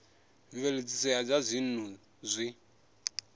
mveledziso ya zwa dzinnu zwi